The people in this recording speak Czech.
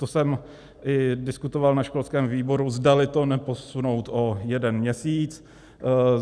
To jsem i diskutoval na školském výboru, zdali to neposunout o jeden měsíc.